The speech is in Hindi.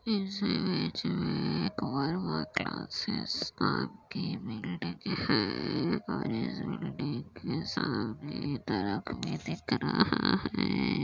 इस इमेज में वर्मा क्लासेस नाम बिल्डिंग है और इस बिल्डिंग के सामने ट्रक भी दिख रहा है।